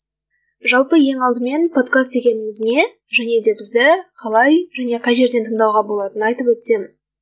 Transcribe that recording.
жалпы ең алдымен подкаст дегеніміз не және де бізді қалай және қай жерден тыңдауға болатынын айтып өтсем